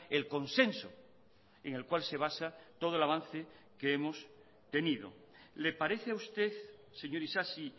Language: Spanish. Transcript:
el consenso en el cual se basa todo el avance que hemos tenido le parece a usted señor isasi